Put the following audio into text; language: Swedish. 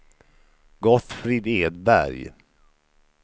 Gottfrid Edberg